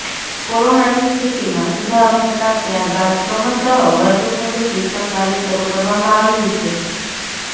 કોરોનાની સ્થિતિમાં સુધારો થતાં ત્યારબાદ ક્રમશઃ વર્ગખંડ શિક્ષણ કાર્ય શરૂ કરવામાં આવ્યું છે